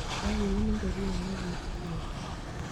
Kakiun ngoriet ne kibukeke.